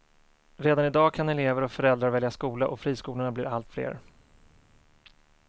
Redan i dag kan elever och föräldrar välja skola och friskolorna blir allt fler.